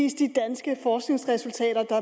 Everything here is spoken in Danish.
for synes